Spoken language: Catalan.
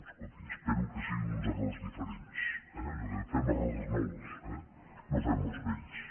escolti espero que siguin uns errors diferents eh allò de fem errors nous eh no fem els vells